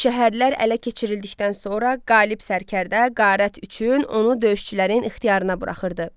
Şəhərlər ələ keçirildikdən sonra qalib sərkərdə qənimət üçün onu döyüşçülərin ixtiyarına buraxırdı.